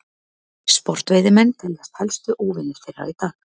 sportveiðimenn teljast helstu óvinir þeirra í dag